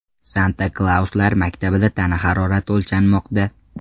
Santa-Klauslar maktabida tana harorati o‘lchanmoqda.